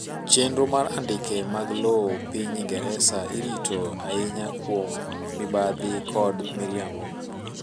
chenro mar andika mag lowoe piny ingereza irito ainya kuom mibadhi kod miriambo